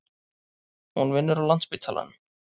Hún vinnur á Landspítalanum.